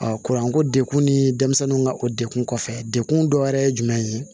kuranko dekun ni denmisɛnninw ka o dekun kɔfɛ dekun dɔ wɛrɛ ye jumɛn ye